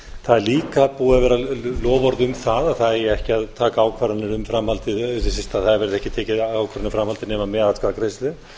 það er líka búið að vera loforð um það að það eigi ekki að taka ákvarðanir eða það verði ekki tekin ákvörðun um framhaldið nema með atkvæðagreiðslu